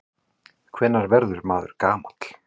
Hvenær verður maður gamall?